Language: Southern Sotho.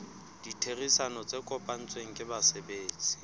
ditherisano tse kopanetsweng ke basebetsi